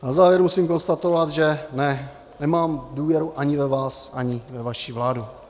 Na závěr musím konstatovat, že nemám důvěru ani ve vás, ani ve vaši vládu.